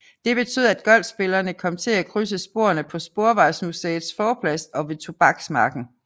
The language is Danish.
Det betød at golfspillerne kom til at krydse sporene på Sporvejsmuseets forplads og ved Tobaksmarken